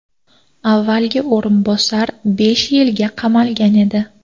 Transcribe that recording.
Avvalgi o‘rinbosar besh yilga qamalgan edi.